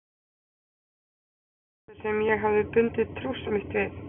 Hver var þessi maður sem ég hafði bundið trúss mitt við?